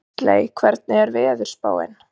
Gísley, hvernig er veðurspáin?